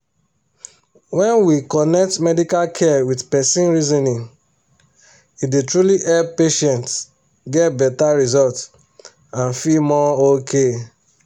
when we connect medical care with person reasoning e dey truly help patients get better result and feel more okay.